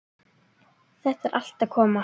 Þetta er allt að koma.